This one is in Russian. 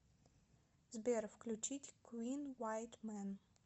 сбер включить куин вайт мэн